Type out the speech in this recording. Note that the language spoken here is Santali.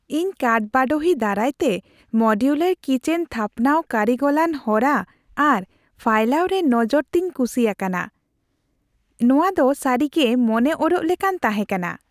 ᱤᱧ ᱠᱟᱴᱼᱵᱟᱰᱳᱦᱤ ᱫᱟᱨᱟᱭ ᱛᱮ ᱢᱳᱰᱤᱭᱩᱞᱟᱨ ᱠᱤᱪᱮᱱ ᱛᱷᱟᱯᱱᱟᱣᱨᱮ ᱠᱟᱹᱨᱤᱜᱚᱞᱚᱱ ᱦᱚᱨᱟ ᱟᱨ ᱯᱷᱟᱭᱞᱟᱣ ᱨᱮ ᱱᱚᱡᱚᱨ ᱛᱮᱧ ᱠᱩᱥᱤ ᱟᱠᱟᱱᱟ ᱾ ᱱᱚᱶᱟ ᱫᱚ ᱥᱟᱹᱨᱤᱜᱮ ᱢᱚᱱᱮ ᱚᱨᱚᱜ ᱞᱮᱠᱟᱱ ᱛᱟᱦᱮᱸ ᱠᱟᱱᱟ ᱾